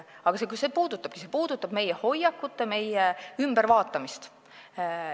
Aga see puudutabki meie hoiakute ülevaatamist.